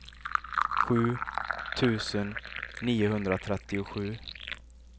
sju tusen niohundratrettiosju